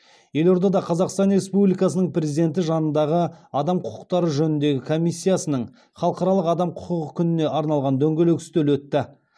елордада қазақстан республикасының президенті жанындағы адам құқықтары жөніндегі комиссиясының халықаралық адам құқығы күніне арналған дөңгелек үстел өтті